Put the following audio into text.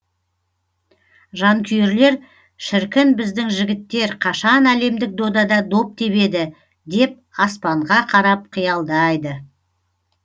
жанкүйерлер шіркін біздің жігіттер қашан әлемдік додада доп тебеді деп аспанға қарап қиялдайды